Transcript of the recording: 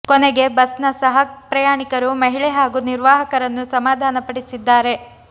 ಕೊನೆಗೆ ಬಸ್ನ ಸಹ ಪ್ರಯಾಣಿಕರು ಮಹಿಳೆ ಹಾಗೂ ನಿರ್ವಾಹಕರನ್ನು ಸಮಾಧಾನ ಪಡಿಸಿದ್ದಾರೆ